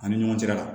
Ani ɲɔgɔn cɛla la